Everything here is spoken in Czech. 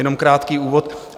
Jenom krátký úvod.